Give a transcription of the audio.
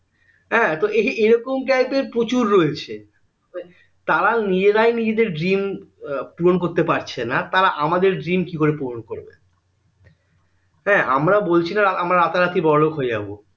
হ্যাঁ তো এইরকম type এর প্রচুর রয়েছে তারা নিজেরাই নিজেদের dream পূরণ করতে পারছে না তারা আমাদের dream কি করে পূরণ করবে তাই আমরা বলছিনা আমরা রাতারাতি বড়োলোক হয়ে যাবো